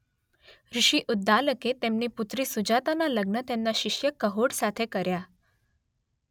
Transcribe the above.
ઋષિ ઉદ્દાલકે તેમની પુત્રી સુજાતાનાં લગ્ન તેમના શિષ્ય કહોડ સાથે કર્યા